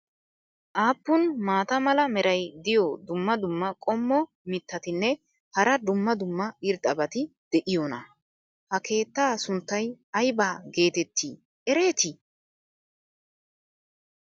aappun maata mala meray diyo dumma dumma qommo mitattinne hara dumma dumma irxxabati de'iyoonaa? ha keettaa sunttay aybba geetetti eretii?